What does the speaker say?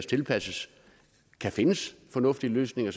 tilpasses kan findes fornuftige løsninger